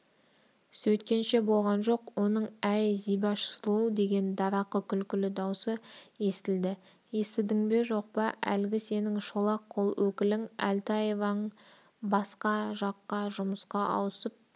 сөйткенше болған жоқ оның әй зибаш сұлу деген дарақы күлкілі даусы естілді естідің бе жоқ па әлгі сенің шолақ қол өкілің әлтаевың басқа жаққа жұмысқа ауысып